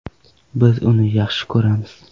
Biz uni yaxshi ko‘ramiz.